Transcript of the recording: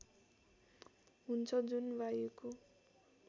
हुन्छ जुन वायुको